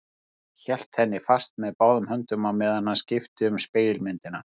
Hann hélt henni fast með báðum höndum á meðan hann skipti við spegilmyndina.